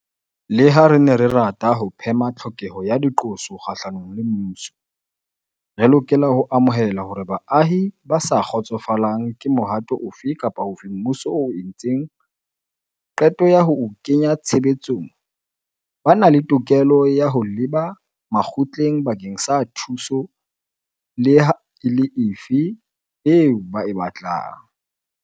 Leha re ne re rata ho phema tlhokeho ya diqoso kgahlanong le mmuso, re lokela ho amohela hore baahi ba sa kgotsofalang ke mohato ofe kapa ofe oo mmuso o entseng qeto ya ho o kenya tshebetsong ba na le tokelo ya ho leba makgotleng bakeng sa thuso leha e le efe eo ba e batlang.